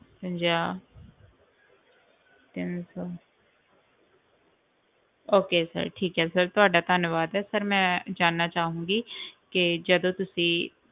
ਪੰਜਾਹ ਤਿੰਨ ਸੌ okay sir ਠੀਕ ਹੈ sir ਤੁਹਾਡਾ ਧੰਨਵਾਦ ਹੈ sir ਮੈਂ ਜਾਣਨਾ ਚਾਹਾਂਗੀ ਕਿ ਜਦੋਂ ਤੁਸੀਂ,